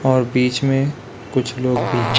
और बीच में कुछ लोग भी है।